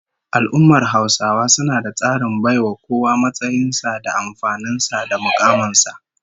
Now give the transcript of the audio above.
Al'ummar Hausawa suna da tsarin baiwa kowa matsayin sa da amfanin sa da mukamin sa